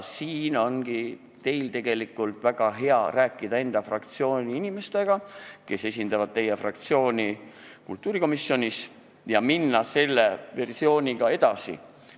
Siinkohal ongi teil väga hea rääkida enda fraktsiooni inimestega, kes esindavad teie fraktsiooni kultuurikomisjonis, ja minna selle versiooniga edasi.